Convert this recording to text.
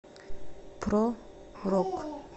про рок